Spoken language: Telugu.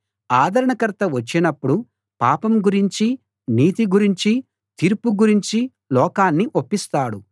ఆదరణకర్త వచ్చినప్పుడు పాపం గురించి నీతి గురించి తీర్పు గురించి లోకాన్ని ఒప్పిస్తాడు